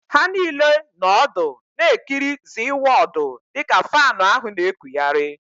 Ha niile nọ ọdụ na-ekiri ZịWọọdụ dịka faanụ ahụ na-ekụghari